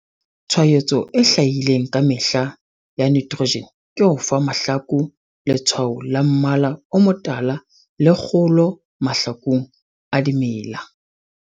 Tshwaetso e hlahileng ka mahetla ya nitrogen ke ho fa mahlaku letshwao la mmala o motala le kgolo mahlaku a dimela.